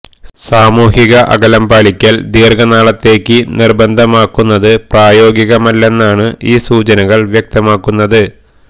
സാമൂഹിക അകലം പാലിക്കല് ദീര്ഘനാളത്തേക്ക് നിര്ബന്ധമാക്കുന്നത് പ്രായോഗികമല്ലെന്നാണ് ഈ സൂചനകള് വ്യക്തമാക്കുന്നത്